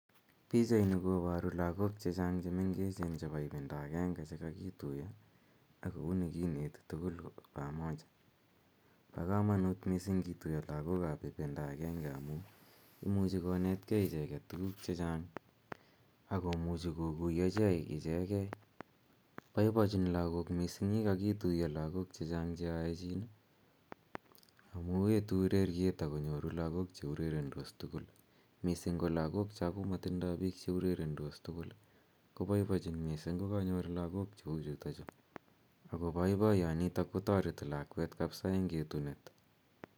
Pichaini koparu lagok che chang' che mengechen chepo ipindaa agenge che kakituya ako uni kineti tugul pamoja. Pa kamanut missing' kituya lagok ap ipinda agenge aku imuch kontgei ichek tugun che chang' ako muchi kokuyagei ichegei. Poipochin lagok missing' ye kakituya lagok che chang' che aechin smu etu ureriet ako nyoru lagok che urerendos tugul, missing' ko lagok cha komakotindai pik che urerendos tugul kopoipochin missing' ko kanyor lagok che u chutachu, ako poipoyani ko tareti lakwet kapsa eng' etunet.